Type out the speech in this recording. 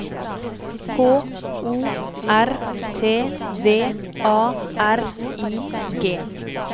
K O R T V A R I G